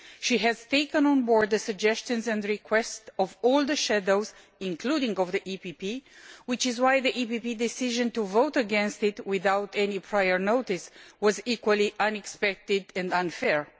She has taken on board the suggestions and requests of all the shadows, including the EPP, which is why the EPP decision to vote against it without any prior notice was equally unexpected and unfair.